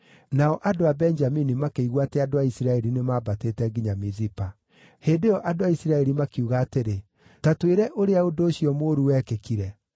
(Nao andũ Benjamini makĩigua atĩ andũ a Isiraeli nĩmambatĩte nginya Mizipa.) Hĩndĩ ĩyo andũ a Isiraeli makiuga atĩrĩ, “Ta twĩre ũrĩa ũndũ ũcio mũũru wekĩkire.”